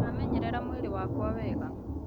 Ndĩramenyerera mwĩrĩ wakwa wega